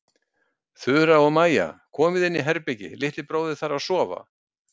Þura og Maja, komiði inn í herbergi- litli bróðir þarf að sofa.